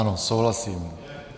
Ano, souhlasím.